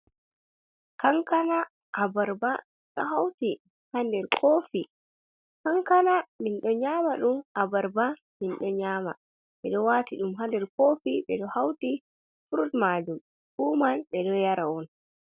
Kankana abarba ɗo hauti ha nder kofi, kankana min ɗo nyama ɗum, abarba minɗo nyama, ɓe ɗo wati ɗum ha nder kofi ɓe ɗo hauti frud majum, fu man ɓe ɗo yara on.